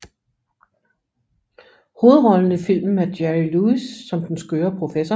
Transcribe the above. Hovedrollen i filmen er Jerry Lewis som den skøre professor